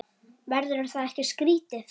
Verður það ekki skrítið?